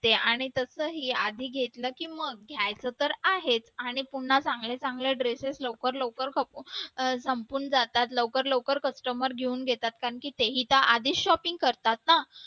आणि तसंही आधी घेतलं की मग घ्यायचं तर आहेच आणि पुन्हा चांगली चांगली dresess लवकर लवकर खपून संपून जातात लवकर लवकर custom घेऊन घेतात कारण तेही तर आधीच shopping करतात ना